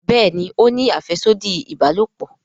Béèni o ní afẹsodi ìbálòpọ̀.